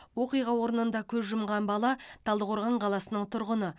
оқиға орнында көз жұмған бала талдықорған қаласының тұрғыны